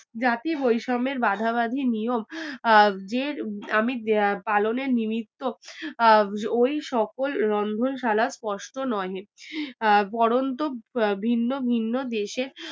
জাতি বৈষম্যের বাধাবাঁধি নিয়ম আহ যে আমি আহ পালনের নিমিত্ত আহ ওই সকল রন্ধনশালার স্পষ্ট নহে আহ বরন্ত ভিন্ন ভিন্ন দেশে